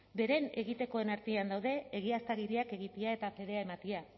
beren egitekoen artean daude egiaztagiriak egitea eta fedea ematea